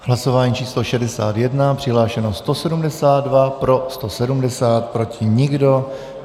Hlasování číslo 61. Přihlášeno 172, pro 170, proti nikdo.